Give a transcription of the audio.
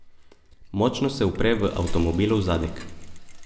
Močno se upre v avtomobilov zadek.